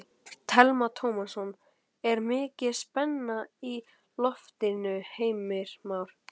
Telma Tómasson: Er mikil spenna í loftinu Heimir Már?